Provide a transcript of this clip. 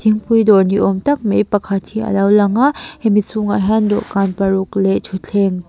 thingpui dawr ni awm tak mai pakhat hi alo lang a hemi chhungah hian dawhkan paruk leh thuthleng--